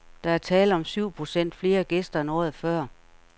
Der er tale om syv procent flere gæster end året før.